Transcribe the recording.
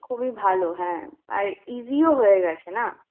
খুবই ভালো হ্যাঁ, আর easy ও হয়ে গেছে না?